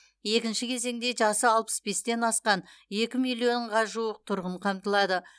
екінші кезеңде жасы алпыс бестен асқан екі миллионға жуық тұрғын қамтылады